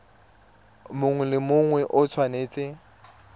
mongwe le mongwe o tshwanetse